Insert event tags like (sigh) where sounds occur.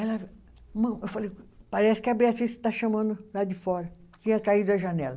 (unintelligible) Eu falei, parece que a (unintelligible) está chamando lá de fora, que ia cair da janela.